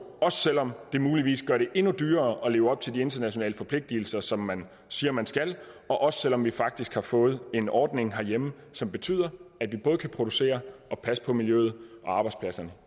selv om det muligvis gør det endnu dyrere at leve op til de internationale forpligtelser som man siger man skal og også selv om vi faktisk har fået en ordning herhjemme som betyder at vi både kan producere og passe på miljøet og arbejdspladserne